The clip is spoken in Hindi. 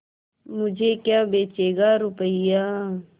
मुझे क्या बेचेगा रुपय्या